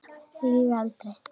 Lýg aldrei.